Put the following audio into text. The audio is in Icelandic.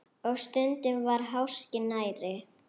Og stundum var háskinn nærri.